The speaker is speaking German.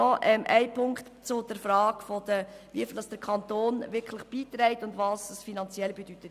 Noch ein Punkt zur Frage, wie viel der Kanton wirklich beiträgt und was dies finanziell bedeutet.